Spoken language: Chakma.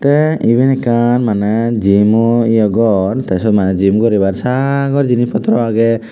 te eben ekkan mane jimo ye gor te siyod mane Jim guribar sagor jinis potro aagey.